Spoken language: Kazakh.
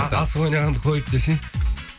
асық ойнағанды қойып десең